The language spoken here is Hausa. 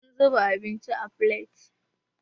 Muna zuba abinci a filet.